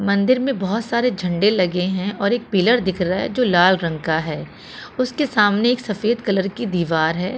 मंदिर में बहोत सारे झंडे लगे हैं और एक पिलर दिख रहा है जो लाल रंग का है उसके सामने एक सफेद कलर की दीवार है।